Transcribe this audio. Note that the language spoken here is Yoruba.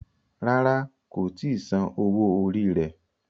Ràrá kò tí Sàn owo orí rẹ.